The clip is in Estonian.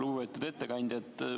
Lugupeetud ettekandja!